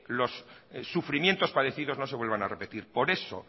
los sufrimientos padecidos no se vuelvan a repetir por eso